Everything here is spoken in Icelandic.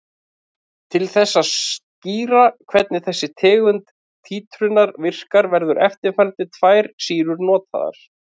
Til þess að skýra hvernig þessi tegund títrunar virkar verða eftirfarandi tvær sýrur notaðar.